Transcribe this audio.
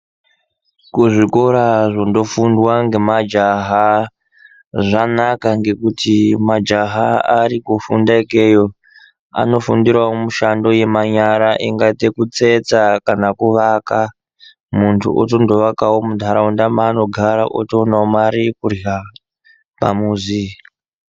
Kuzvikora zvinofundwa ngemajaha zvanaka ngekuti majaha arikufunda ikweyo anofundirawo mushando yemanyara enga dzekutsetsa kana kuvaka muntu otonovakawo muntaraunda maanogara otowanayo mari yekurya pamuzi. .